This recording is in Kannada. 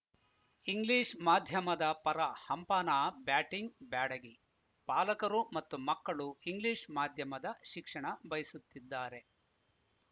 ಇಂಗ್ಲಿಷ್‌ ಮಾಧ್ಯಮದ ಪರ ಹಂಪನಾ ಬ್ಯಾಟಿಂಗ್‌ ಬ್ಯಾಡಗಿ ಪಾಲಕರು ಮತ್ತು ಮಕ್ಕಳು ಇಂಗ್ಲಿಷ್‌ ಮಾಧ್ಯಮದ ಶಿಕ್ಷಣ ಬಯಸುತ್ತಿದ್ದಾರೆ